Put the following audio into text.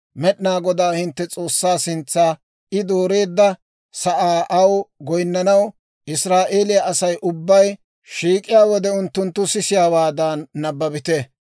Med'inaa Godaa hintte S'oossaa sintsa I dooreedda sa'aa aw goyinnanaw Israa'eeliyaa Asay ubbay shiik'iyaa wode, unttunttu sisiyaawaadan nabbabite.